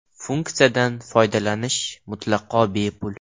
Funksiyadan foydalanish mutlaqo bepul.